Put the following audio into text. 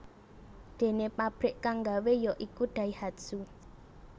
Déné pabrik kang nggawé ya iku Daihatsu